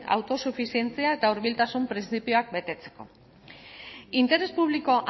autosufizientzia eta hurbiltasun printzipioak betetzeko interes publiko